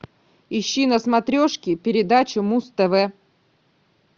ищи на смотрешке передачу муз тв